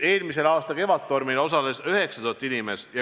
Eelmise aasta Kevadtormil osales 9000 inimest.